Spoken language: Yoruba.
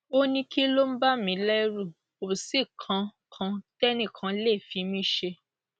ó ní kí ló ń bà mí lẹrù kò sí nǹkan kan tẹnìkan lè fi mí ṣe